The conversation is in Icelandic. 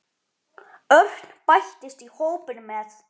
Örn bættist í hópinn með